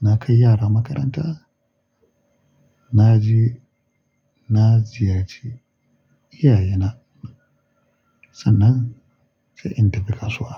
na kai yara makaranta, na je na ziyarce iyaye na. Sannan sai in tafi kasuwa.